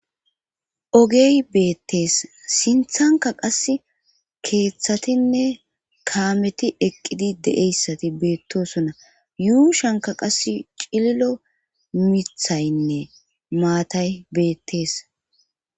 Ogey beettees sinthanka qas keeththatinne kaameti eqqidi deeyssati beettosona yuushanka qas cililo mithaynne maatay beettees.